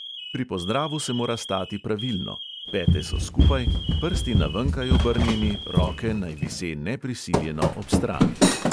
Pri pozdravu se mora stati pravilno, pete so skupaj, prsti na venkaj obrnjeni, roke naj vise neprisiljeno ob strani.